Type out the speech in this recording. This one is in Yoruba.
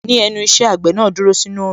Ní ẹnu iṣẹ́, àgbẹ̀ náà dúró sínú Òòrùn